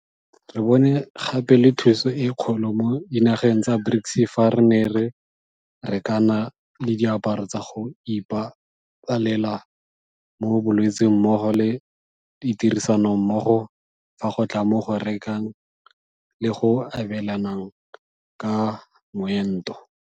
Re bone gape le thuso e kgolo mo dinageng tsa BRICS fa re ne re rekana le diaparo tsa go ipa balela mo bolwetseng mmogo le tirisanommogo fa go tla mo go rekeng le go abelaneng ka moento.